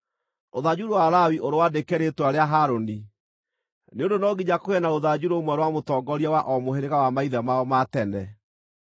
Rũthanju rwa Lawi ũrwandĩke rĩĩtwa rĩa Harũni, nĩ ũndũ no nginya kũgĩe na rũthanju rũmwe rwa mũtongoria wa o mũhĩrĩga wa maithe mao ma tene.